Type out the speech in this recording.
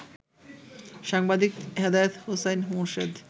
সাংবাদিক হেদায়েত হোসাইন মোরশেদ